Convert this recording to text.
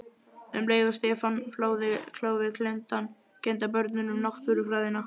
Um leið og Stefán fláði kálfinn kenndi hann börnunum Náttúrufræðina.